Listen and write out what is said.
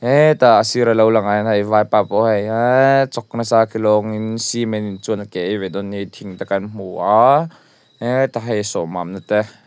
he tah a sira lo langah hian hei vaipa pawh hei eeee a chawk nasa ke lawngin cement chuan a ke a ei ve dawn nih hi thing te kan hmu a heta hei a sawh mamna te.